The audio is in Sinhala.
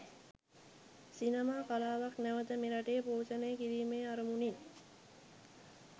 සිනමා කලාවක් නැවත මෙරටේ පෝෂණය කිරීමේ අරමුණින්.